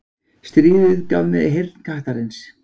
Stríðið gaf mér heyrn kattarins.